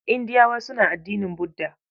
Indiyawa suna addinin Budda.